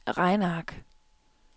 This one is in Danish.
regneark